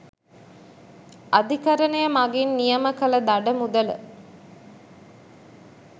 අධිකරණය මගින් නියම කළ දඩ මුදල